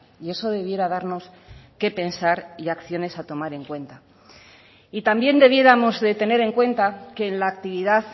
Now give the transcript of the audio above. y eso debiera darnos qué pensar y acciones a tomar en cuenta y también debiéramos de tener en cuenta que en la actividad